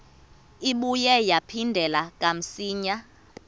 ibuye yaphindela kamsinya